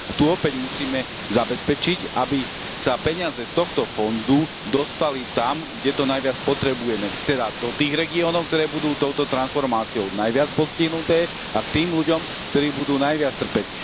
Tu opäť musíme zabezpečiť, aby sa peniaze z tohto fondu dostali tam, kde to najviac potrebujeme, teda to tých regiónov, ktoré budú touto transformáciou najviac postihnuté a k tým ľudom, ktorí budú najviac trpieť.